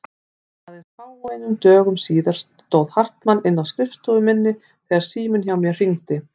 Aðeins fáeinum dögum síðar stóð Hartmann inni á skrifstofu minni þegar síminn hjá mér hringdi.